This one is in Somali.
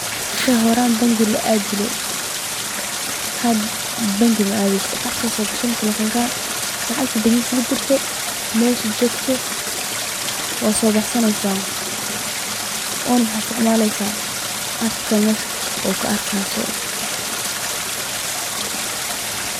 Wixi horaan bangi la aadi jire, hada mala aadayo, telefonka ayaa soo gashaneysa waa soo baxsaneysa, waxaana isticmaleysa waxa aad meesha ku arki hayso.